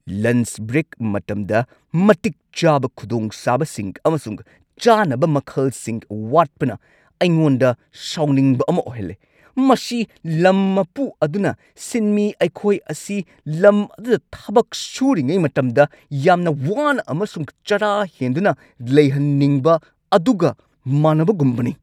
Lunch break ꯃꯇꯝꯗ ꯃꯇꯤꯛ ꯆꯥꯕ ꯈꯨꯗꯣꯡꯆꯥꯕꯁꯤꯡ ꯑꯃꯁꯨꯡ ꯆꯥꯅꯕ ꯃꯈꯜꯁꯤꯡ ꯋꯥꯠꯄꯅ ꯑꯩꯉꯣꯟꯗ ꯁꯥꯎꯅꯤꯡꯕ ꯑꯃ ꯑꯣꯏꯍꯜꯂꯦ ꯫ ꯃꯁꯤ ꯂꯝ ꯃꯄꯨ ꯑꯗꯨꯅ ꯁꯤꯟꯃꯤ ꯑꯩꯈꯣꯏ ꯑꯁꯤ ꯂꯝ ꯑꯗꯨꯗ ꯊꯕꯛ ꯁꯨꯔꯤꯉꯩ ꯃꯇꯝꯗ ꯌꯥꯝꯅ ꯋꯥꯅ ꯑꯃꯁꯨꯡ ꯆꯔꯥ ꯍꯦꯟꯗꯨꯅ ꯂꯩꯍꯟꯅꯤꯡꯕ ꯑꯗꯨꯒ ꯃꯥꯟꯅꯕꯒꯨꯝꯕꯅꯤ ꯫